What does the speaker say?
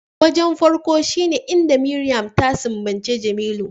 Wajen farko shine inda Mariam ta sumbaci Jemilu